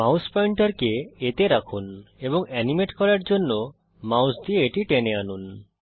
mouse পয়েন্টারকে Aতে রাখুন এবং এনিমেট করার জন্যে মাউস দিয়ে এটি টেনে আনুন